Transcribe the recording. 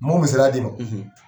M'o misaliya d'i ma.